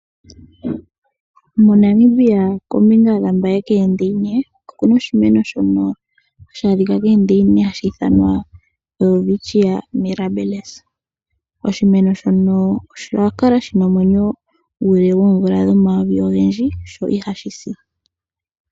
MoNamibia kombinga ya Mbaye koondeyina oku na oshimeno hashi adhika koondeyina hashi ithanwa Welwitchia Mirrabilis. Oshimeno shono osha kala shina omwenyo guule moomvula omayovi ogendji, sho ihashi si.